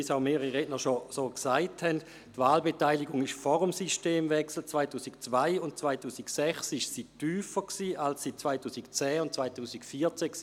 Wie schon mehrere Redner erwähnt haben, war die Wahlbeteiligung in den Jahren 2002 und 2006, eben vor dem Systemwechsel, tiefer als 2010 und 2014.